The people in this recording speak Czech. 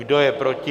Kdo je proti?